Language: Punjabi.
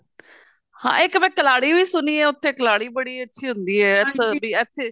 ਹਾਂ ਇੱਕ ਮੈਂ ਕਲਹਾੜੀ ਵੀ ਸੁਣੀ ਐ ਉੱਥੇ ਕਲਹਾੜੀ ਬੜੀ ਅੱਛੀ ਹੁੰਦੀ ਹੈ